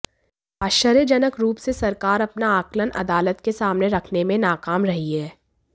आश्चर्यजनक रूप से सरकार अपना आकलन अदालत के सामने रखने में नाकाम रही है